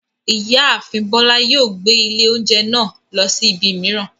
Ìyáàfin Bọ́lá yóò gbé ilé oúnjẹ náà lọ sí ibi mìíràn.